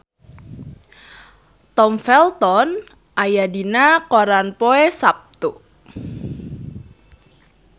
Tom Felton aya dina koran poe Saptu